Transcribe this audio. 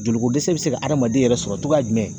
Joliko dɛsɛ be se ka adamaden yɛrɛ sɔrɔ togoya jumɛn